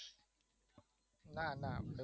ના ના